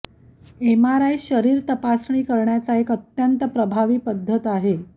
MRI शरीर तपासणी करण्याचा एक अत्यंत प्रभावी पद्धत आहे